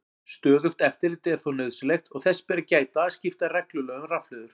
Stöðugt eftirlit er þó nauðsynlegt og þess ber að gæta að skipta reglulega um rafhlöður.